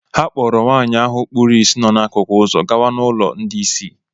Ha kpọọrọ nwaanyị ahụ kpuru isi nọ n’akụkụ ụzọ gawa n’ụlọ ndị ìsì.